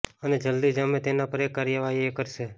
અને જલ્દી જ અમે તેના પર એક કાર્યવાહી એ કરશે